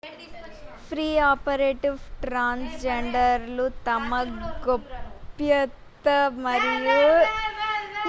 pre operative transgender లు తమ గోప్యత మరియు హుందాతనం చెక్కుచెదరకుండా స్కానర్ ల గుండా వెళ్లడాన్ని ఆశించరాదు